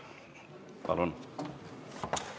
Palun!